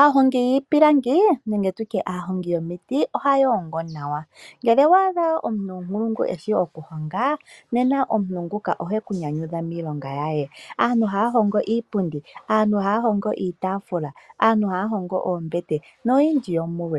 Aahongi yiipilangi nenge tutye aahongi yomiti oha yoongo nawa. Ngele owaadha omuntu ompulungu eshi oku honga nawa, nena omhu nguka ohe ku nyanyudha miilonga yaye. Aantu haa hongo iipundi, ohaa hongo iitaafula, aantu haa hongo oombete noyindji yomuyo.